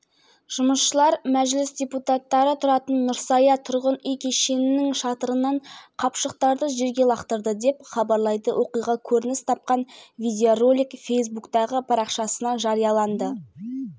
ойынды қос команда да бақылаумен бастады алғашқы минуттарда ширақ шабуылдар мен қауіпті сәттер көп бола қойған